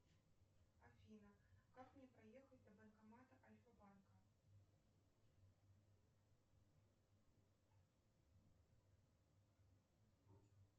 афина как мне проехать до банкомата альфа банка